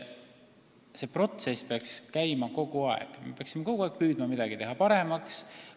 See protsess peaks käima kogu aeg, me peaksime kogu aeg püüdma midagi paremaks teha.